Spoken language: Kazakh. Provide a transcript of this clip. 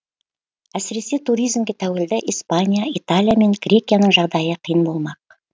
әсіресе туризмге тәуелді испания италия мен грекияның жағдайы қиын болмақ